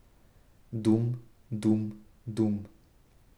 Dum, dum, dum.